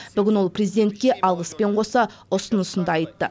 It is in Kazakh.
бүгін ол президентке алғыспен қоса ұсынысын да айтты